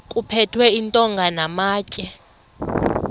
kuphethwe iintonga namatye